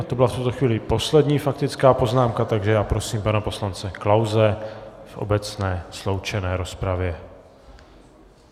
A to byla v tuto chvíli poslední faktická poznámka, takže já prosím pana poslance Klause v obecné sloučené rozpravě.